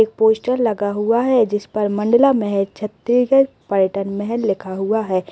एक पोस्टर लगा हुआ है जिस पर मंडला महल छत्तीसगढ़ पलटन महल लिखा हुआ है।